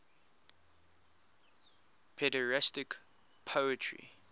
pederastic poetry